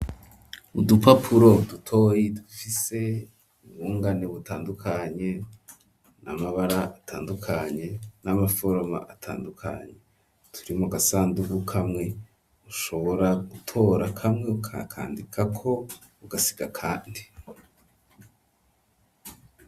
Udupapuro dutoyi dufise ubungane butandukanye n'amabara atandukanye n'amaforoma atandukanye turi mu gasandugu kamwe ushobora gutora kamwe ukakandikako ugasiga akandi.